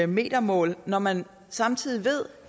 metermål når man samtidig ved